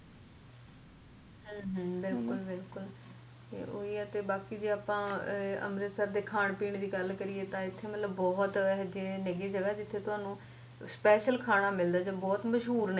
ਬਿਲਕੁਲ ਬਿਲਕੁਲ ਤੇ ਓਹੀ ਐ ਤੇ ਬਾਕੀ ਅਪਾ ਅੰਮ੍ਰਿਤਸਰ ਦੇ ਖਾਨ ਪੀਣ ਦੀ ਗੱਲ ਕਰੀਏ ਤਾਂ ਏਦਰ ਮਤਲਬ ਬਹੁਤ ਜਗ੍ਹਾ ਏ ਜਿੱਥੇ ਤੁਹਾਨੂੰ special ਖਾਣਾ ਮਿਲਦਾ ਜੌ ਬਹੁਤ ਮਸ਼ਹੂਰ ਏ